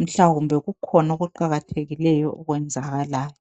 mhlawumbe kukhona okuqakathekileyo okwenzakalayo.